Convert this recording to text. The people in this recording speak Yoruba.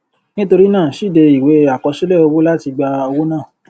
nitori naa síde iwe akosile owo lati gba owo naa